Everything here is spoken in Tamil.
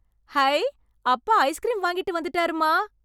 ஹைய்... அப்பா ஐஸ்க்ரீம் வாங்கிட்டு வந்துட்டாருமா.